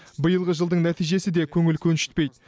биылғы жылдың нәтижесі де көңіл көншітпейді